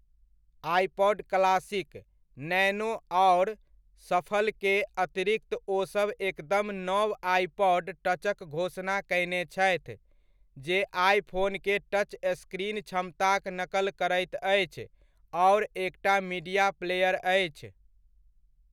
IPod classic, nano आओर शफलके अतिरिक्त ओसब एकदम नव आइपॉड टचक घोषणा कयने छथि, जे आइफोनके टच स्क्रीन क्षमताक नकल करैत अछि आओर एकटा मीडिया प्लेयर अछि।